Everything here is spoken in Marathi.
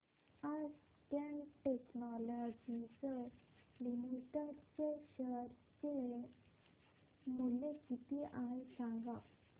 आज कॅट टेक्नोलॉजीज लिमिटेड चे शेअर चे मूल्य किती आहे सांगा